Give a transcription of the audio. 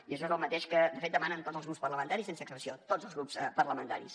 i això és el mateix que de fet demanen tots els grups parlamentaris sense excepció tots els grups parlamentaris